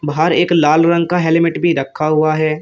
बाहर एक लाल रंग का हेलमेट भी रखा हुआ है।